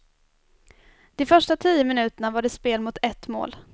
De första tio minuterna var det spel mot ett mål.